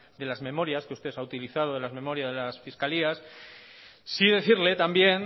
de las memorias que usted ha utilizado de las memorias de las fiscalías sí decirle también